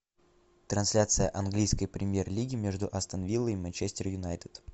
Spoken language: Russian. трансляция английской премьер лиги между астон виллой и манчестер юнайтед